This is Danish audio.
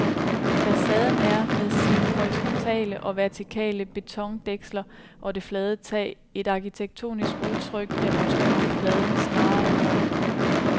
Facaden er, med sine horisontale og vertikale betondæksler og det flade tag, et arkitektonisk udtryk, der betoner fladen snarere end rummet.